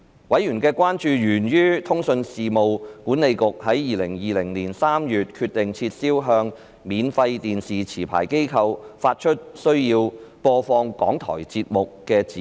委員的關注源於通訊事務管理局在2020年3月決定撤銷向免費電視持牌機構發出須播放港台節目的指示。